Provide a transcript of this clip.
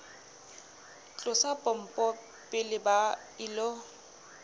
tlosa pompo pele ba ilo